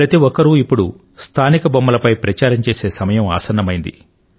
ప్రతి ఒక్కరు స్థానిక బొమ్మలపై ప్రచారం చేసే సమయం ఇక ఆసన్నమైంది